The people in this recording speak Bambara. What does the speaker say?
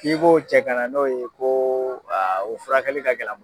K'i b'o cɛ kana n'o ye koo o furakɛli ka gɛl'an m